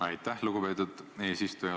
Aitäh, lugupeetud eesistuja!